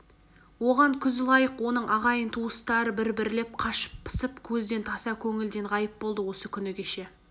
оған күз лайық оның ағайын-туыстары да бір-бірлеп қашып-пысып көзден таса көңілден ғайып болды осы күні кеше